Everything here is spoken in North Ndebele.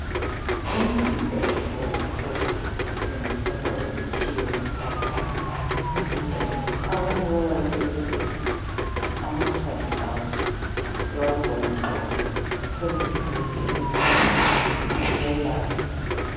Umbida oluhlaza tshoko osetshenziswa njengesitshebo. Umbhida lo abanye bayawasebenzisa amahlamvu aso bawagxobagxobe bathontisele emehlweni uyelapha.